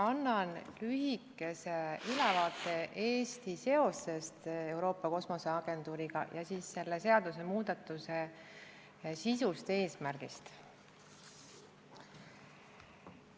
Annan lühikese ülevaate Eesti seosest Euroopa Kosmoseagentuuriga ning siis selle seadusemuudatuse sisust ja eesmärgist.